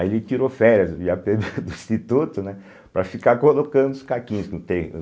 Aí ele tirou férias do i á pê bê do Instituto, né, para ficar colocando os caquinhos no te